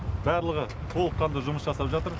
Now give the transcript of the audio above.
барлығы толыққанды жұмыс жасап жатыр